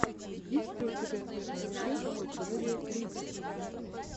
есть ли у тебя первая часть юрия клинских